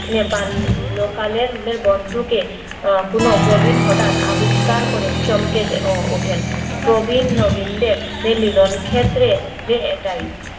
বাল্য কালের বন্ধুকে কোনো প্রবীণ হঠাৎ করে আবিষ্কার করে চমকে দে ওঠেন প্রবীণ নবীনদের মিলন ক্ষেত্রে এটাই